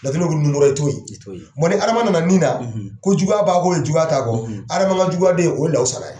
i t'o ye, i t'o ye ni Adama nana min na, ko juguya b'a ko ye juguya t'a kɔ Adama ka juguya den o ye Lawusana ye